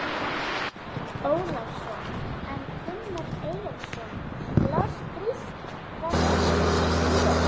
Ólafsson, en Gunnar Eyjólfsson las grísk frelsisljóð.